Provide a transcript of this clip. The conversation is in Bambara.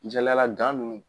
Jɛlɛyala ninnu